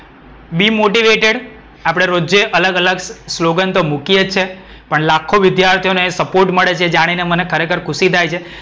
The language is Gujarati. demotivated આપડે રોજેય અલગ અલગ સ્લોગેન તો મૂકીએ જ છીએ. પણ લાખો વિધ્યાર્થીઓને support મળે છે એ જાણીને મને ખરેખર ખુશી થાય છે.